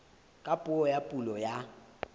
ka puo ya pulo ya